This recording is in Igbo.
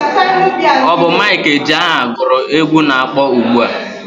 Ọ bụ Mike Ejeagha gụrụ egwu na-akpọ ugbua.